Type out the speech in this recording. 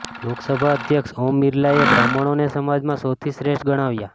લોકસભા અધ્યક્ષ ઓમ બિરલાએ બ્રાહ્મણોને સમાજમાં સૌથી શ્રેષ્ઠ ગણાવ્યા